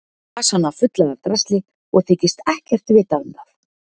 Gengur um með vasana fulla af drasli og þykist ekkert vita um það.